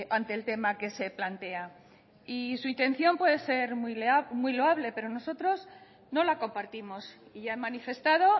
ante el tema que se plantea y su intención puede ser muy loable pero nosotros no la compartimos y he manifestado